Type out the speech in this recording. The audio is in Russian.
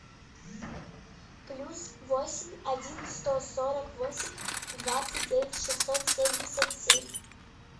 плюс восемь один сто сорок восемь двадцать девять шестьсот семьдесят семь